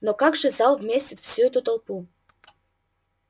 но как же зал вместит всю эту толпу